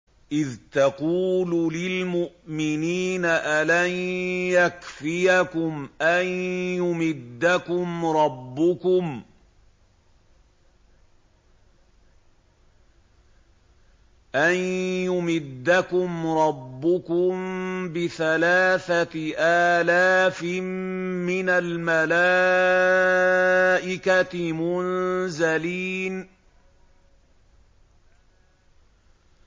إِذْ تَقُولُ لِلْمُؤْمِنِينَ أَلَن يَكْفِيَكُمْ أَن يُمِدَّكُمْ رَبُّكُم بِثَلَاثَةِ آلَافٍ مِّنَ الْمَلَائِكَةِ مُنزَلِينَ